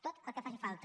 tot el que faci falta